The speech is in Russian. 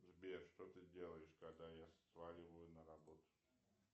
сбер что ты делаешь когда я сваливаю на работу